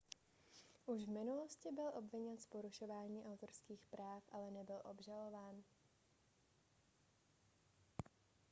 už v minulosti byl obviněn z porušování autorských práv ale nebyl obžalován